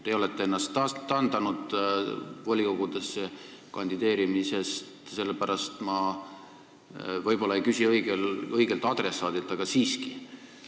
Teie olete ennast taandanud volikogudesse kandideerimisest, sellepärast ma võib-olla ei küsi õigelt adressaadilt, aga siiski.